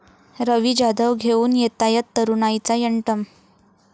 रवी जाधव घेऊन येतायत तरुणाईचा 'यंटम'!